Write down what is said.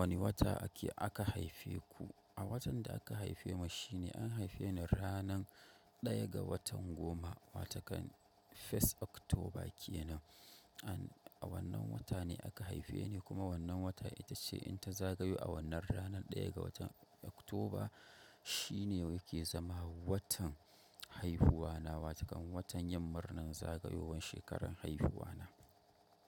Wani wata ake aka haife ku? A watan da aka haife mu shine, an haife ni ranan daya ga watan goma, wato kan First October kenan. A wannan wata ne aka haifeni, kuma wannan wata itace in ta zagayo awannan rana ɗaya ga watan October, shi ne yake zama watan haihuwa na, wata kan wannan watan yin murnan zagayowan shekaran haihuwa na.